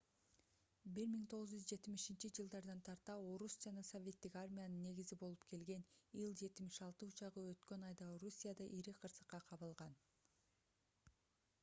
1970-жж тарта орус жана советтик армиянын негизи болуп келген ил-76 учагы өткөн айда орусияда ири кырсыкка кабылган